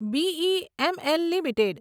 BEML limited